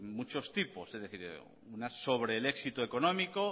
muchos tipos es decir sobre el éxito económico